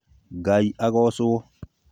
Ngai agocũo